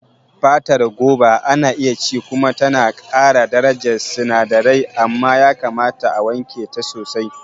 Fatar Goba ana iya ci kuma tana ƙara darajar sinadirai, amma yakamata a wanke ta sosai.